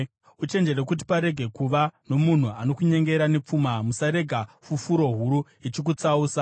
Uchenjere kuti parege kuva nomunhu anokunyengera nepfuma; usarega fufuro huru ichikutsausa.